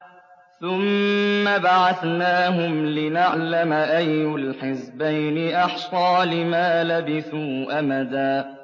ثُمَّ بَعَثْنَاهُمْ لِنَعْلَمَ أَيُّ الْحِزْبَيْنِ أَحْصَىٰ لِمَا لَبِثُوا أَمَدًا